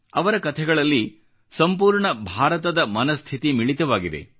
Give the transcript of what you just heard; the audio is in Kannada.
ಅವರ ಕಥೆಗಳಲ್ಲಿ ಸಂಪೂರ್ಣ ಭಾರತದ ಮನಸ್ಥಿತಿ ಮಿಳಿತವಾಗಿದೆ